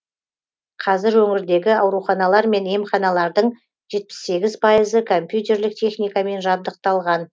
қазір өңірдегі ауруханалар мен емханалардың жетпіс сегіз пайызы компьютерлік техникамен жабдықталған